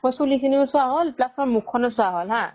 চুলি খিনিয়ো চোৱা হল plus মোৰ মুখ খনয়ো চোৱা হল